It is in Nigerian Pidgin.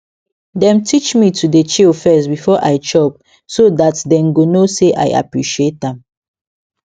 dem teach me to dey chill first before i chop so that them go know say i appreciate am